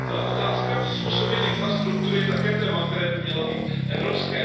Otázka přizpůsobení infrastruktury je také téma, které by mělo být evropské.